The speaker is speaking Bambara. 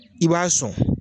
I b'a sɔn.